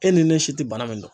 E ni ne si tɛ bana min dɔn